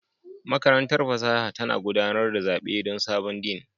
Makarantar fasaha tana gudanar da zaɓe don sabon Dean